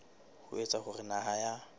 ho etsa hore naha ya